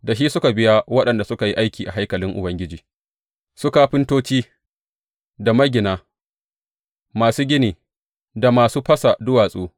Da shi suka biya waɗanda suka yi aiki a haikalin Ubangiji, su kafintoci, da magina, masu gini, da masu fasa duwatsu.